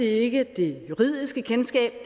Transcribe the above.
ikke det juridiske kendskab